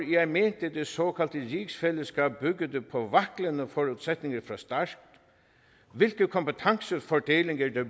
jeg mente det såkaldte rigsfælleskab byggede på vaklende forudsætninger fra start hvilke kompetencefordelinger der